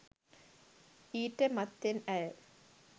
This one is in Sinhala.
ඊට මත්තෙන් ඇය